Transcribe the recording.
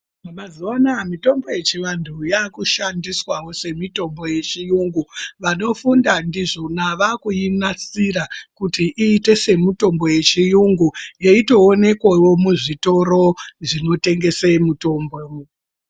Mazuva anaya mitombo yechivantu yakushandiswavo semitombo yechiyungu. Vanofunda ndizvona vakuinasira kuti iite semitombo yechiyungu yeitoonekwevo muzvitoro zvinotengese mitombo.